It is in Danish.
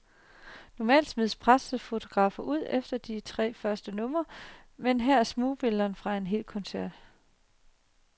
Normalt smides pressefotograferne ud efter de første tre numre, men her er smugbilleder fra en hel koncert.